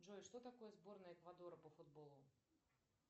джой что такое сборная эквадора по футболу